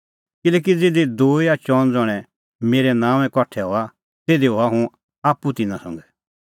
किल्हैकि ज़िधी दूई या चअन ज़ण्हैं मेरै नांओंऐं कठा हआ तिधी हआ हुंह आप्पू तिन्नां संघै